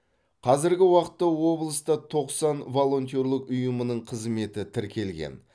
қазіргі уақытта облыста тоқсан волонтерлік ұйымның қызметі тіркелген